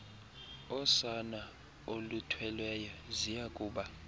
osana oluthweleyo ziyakuba